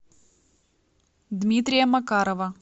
дмитрия макарова